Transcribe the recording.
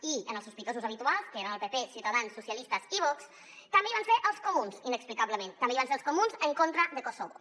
i en els sospitosos habituals que eren el pp ciutadans socialistes i vox també hi van ser els comuns inexplicablement també hi van ser els comuns en contra de kosovo